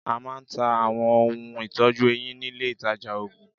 A máa ń ta Àwọn ohun ìtọ́jú eyín nílé ìtajà òògùn.